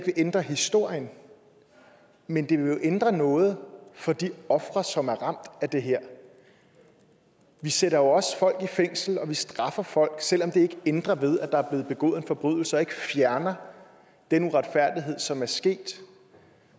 vil ændre historien men det vil jo ændre noget for de ofre som er ramt af det her vi sætter jo også folk i fængsel og straffer folk selv om det ikke ændrer ved at der er blevet begået en forbrydelse og ikke fjerner den uretfærdighed som er sket